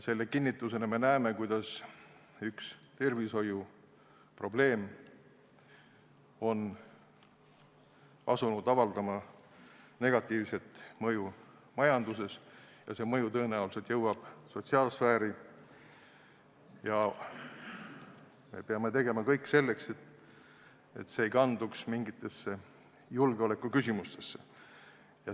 Selle kinnitusena näeme, kuidas üks tervishoiuprobleem on asunud avaldama negatiivset mõju majandusele, mis tõenäoliselt jõuab ka sotsiaalsfääri, ja me peame tegema kõik selleks, et see ei kanduks mingitesse julgeolekuküsimustesse.